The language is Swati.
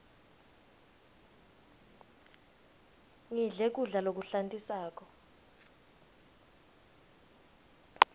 ngidle kudla lokuhlantisako